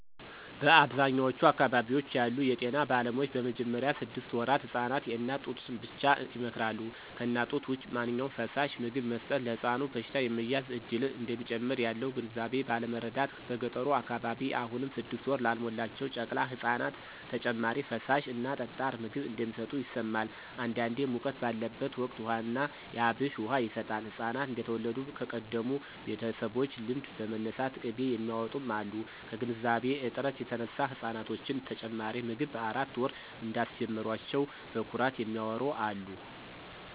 በአብዛኛዎቹ አካባቢዎች ያሉ የጤና ባለሙያዎች በመጀመሪያ ስድስት ወራት ህፃናት የእናት ጡትን ብቻ ይመክራሉ። ከእናት ጡት ውጭ ማንኛውም ፈሳሽ/ምግብ መስጠት ለሕፃኑ በሽታ የመያዝ እድልን እንደሚጨምር ያለው ግንዛቤ ባለማረዳት በገጠሩ አካባቢ አሁንም ስድስት ወር ላልሞላቸው ጨቅላ ህፃናት ተጨማሪ ፈሳሽ እና ጠጣር ምግብ እንደሚሰጡ ይሰማል። አንዳንዴ ሙቀት ባለበት ወቅት ውሃ ና የአብሽ ውሃ ይሰጣል፣ ህፃናት እንደተወለዱ ከቀደሙ ቤተሰቦች ልምድ በመነሳት ቅቤ የሚያውጡም አሉ። ከግንዛቤ እጥረት የተነሳ ህፃናቶችን ተጨማሪ ምግብ በአራት ወር እንዳስጀመሯቸው በኩራት የሚያዎሩ አሉ።